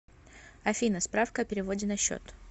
афина справка о переводе на счет